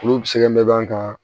Olu sɛbɛn mɛ ban ka